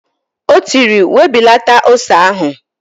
O tiri, "webilata ose ahụ"!